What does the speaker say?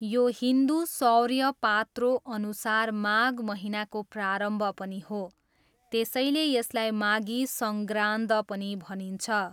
यो हिन्दु सौर्य पात्रोअनुसार माघ महिनाको प्रारम्भ पनि हो, त्यसैले यसलाई 'माघी सङ्ग्रान्द' पनि भनिन्छ।